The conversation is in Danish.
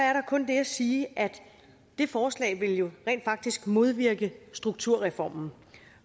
er der kun det at sige at det forslag jo rent faktisk vil modvirke strukturreformen